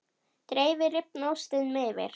Dreifið rifna ostinum yfir.